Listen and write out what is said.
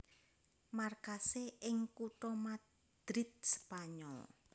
Markasé ing kutha Madrid Spanyol